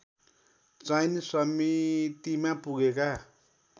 चयन समितिमा पुगेका